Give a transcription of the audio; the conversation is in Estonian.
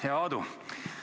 Hea Aadu!